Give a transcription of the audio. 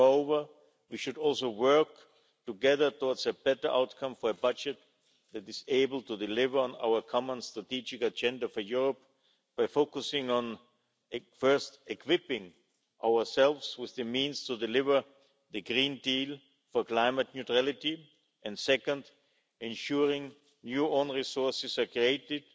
Moreover, we should also work together towards a better outcome for a budget that is able to deliver on our common Strategic Agenda for Europe by focusing on, first, equipping ourselves with the means to deliver the Green Deal for climate neutrality, and, second, ensuring new own resources are created,